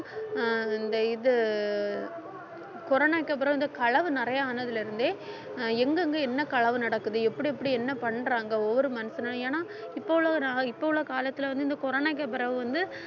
அஹ் இந்த இது corona வுக்கு அப்புறம் வந்து களவு நிறைய ஆனதுல இருந்தே அஹ் எங்கேங்க என்ன களவு நடக்குது எப்படி எப்படி என்ன பண்றாங்க ஒவ்வொரு மனுஷனும் ஏன்னா இப்ப உள்ள டா~ இப்ப உள்ள காலத்துல வந்து இந்த corona வுக்கு பிறகு வந்து